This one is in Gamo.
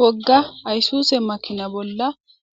Wogga ayissuse makina bolla